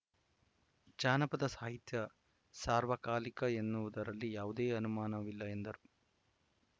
ಜಾನಪದ ಸಾಹಿತ್ಯ ಸಾರ್ವಕಾಲಿಕ ಎನ್ನುವುದರಲ್ಲಿ ಯಾವುದೇ ಅನುಮಾನವಿಲ್ಲ ಎಂದರು